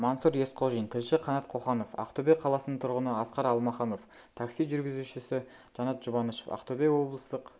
мансұр есқожин тілші қанат қоханов ақтөбе қаласының тұрғыны асқар алмаханов такси жүргізушісі жанат жұбанышев ақтөбе облыстық